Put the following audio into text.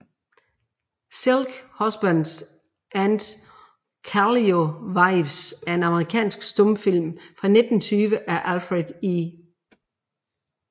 Silk Husbands and Calico Wives er en amerikansk stumfilm fra 1920 af Alfred E